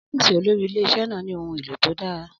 Ọ́fíìsì olórí ilé-iṣẹ́ náà ní ohun èlò tó dára.